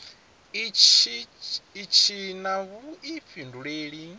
itshi tshi na vhuifhinduleli kha